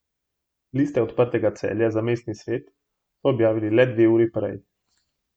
Liste Odprtega Celja za mestni svet so objavili le dve uri prej.